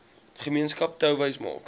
gemeenskap touwys maak